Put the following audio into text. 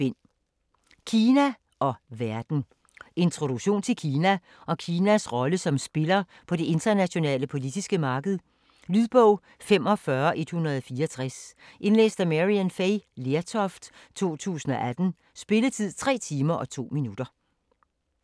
Kina og verden Introduktion til Kina og Kinas rolle som spiller på det internationale politiske marked. Lydbog 45164 Indlæst af Maryann Fay Lertoft, 2018. Spilletid: 3 timer, 2 minutter.